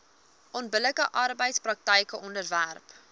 onbillike arbeidspraktyke onderwerp